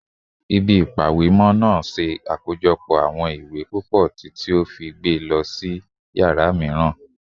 Ile-ipamọ iwe naa ṣe akojọpọ awọn iwe pupọ titi o fi gbe lọ si yara miiran